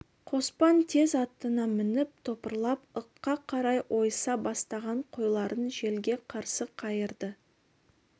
қоспан тез атына мініп топырлап ыққа қарай ойыса бастаған қойларын желге қарсы қайырды